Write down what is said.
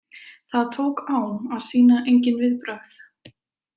Það tók á að sýna engin viðbrögð.